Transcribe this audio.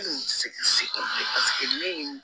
bilen paseke ne ye